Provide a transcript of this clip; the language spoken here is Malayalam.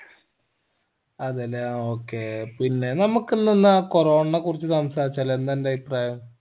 അതേലെ ആ okay പിന്നെ നമ്മക്ക് ഇന്ന് എന്നാ corona യെ കുറിച്ച് സംസാരിച്ചാലോ എന്നിന്റെ അഭിപ്രായം